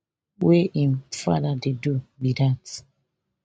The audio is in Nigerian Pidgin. wey im father dey do be dat